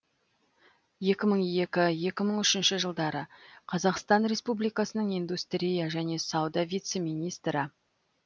екі мың екі екі мың үшінші жылдары қазақстан республикасының индустрия және сауда вице министрі